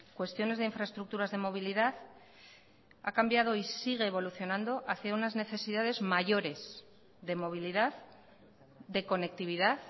cuestiones de infraestructuras de movilidad ha cambiado y sigue evolucionando hacia unas necesidades mayores de movilidad de conectividad